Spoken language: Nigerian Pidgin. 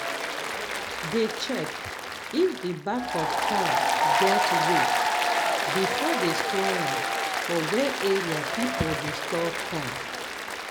dey check if the bag of corn get weight before they store am for where area people dey store corn